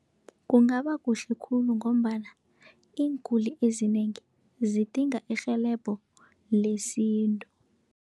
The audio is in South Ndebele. Kungaba kuhle khulu, ngombana iinguli ezinengi zidinga irhelebho lesintu.